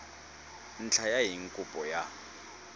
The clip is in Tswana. ntlha ya eng kopo ya